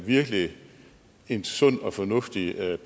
virkelig en sund og fornuftig